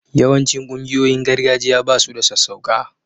Yawancin ƙungiyoyin gargajiya ba su da sassauƙa